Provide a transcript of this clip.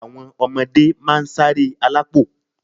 Àwọn ọmọdé máa ń ṣáré alápò